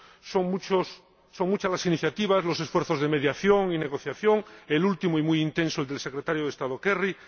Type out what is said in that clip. son muchas las iniciativas, muchos los esfuerzos de mediación y negociación, el último y muy intenso del Secretario de Estado Kerry